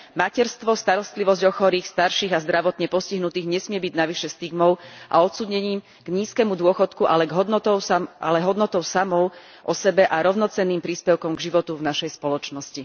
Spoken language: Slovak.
Materstvo, starostlivosť o chorých, starších a zdravotne postihnutých nesmie byť navyše stigmou a odsúdením k nízkemu dôchodku, ale hodnotou samou o sebe a rovnocenným príspevkom k životu v našej spoločnosti.